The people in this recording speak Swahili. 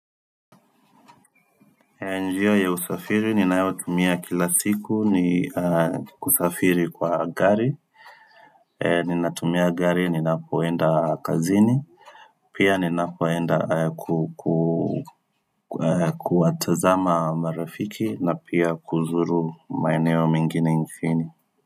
Njia ya usafiri ninayotumia kila siku ni kusafiri kwa gari Ninatumia gari ninapoenda kazini Pia ninapoenda kuku kuwatazama marafiki na pia kuzuru maeneo mengine mjini.